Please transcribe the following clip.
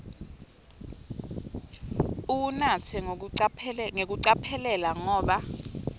uwunatse ngekucophelela ngoba